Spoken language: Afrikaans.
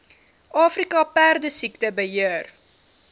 afrika perdesiekte beheer